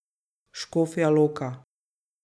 Škofja Loka.